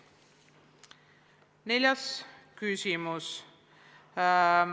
Neljas küsimus.